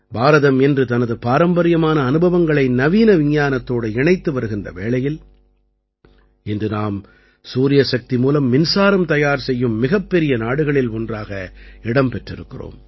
பாரதம் இன்று தனது பாரம்பரியமான அனுபவங்களை நவீன விஞ்ஞானத்தோடு இணைத்து வருகின்ற வேளையில் இன்று நாம் சூரிய சக்தி மூலம் மின்சாரம் தயார் செய்யும் மிகப்பெரிய நாடுகளில் ஒன்றாக இடம் பெற்றிருக்கிறோம்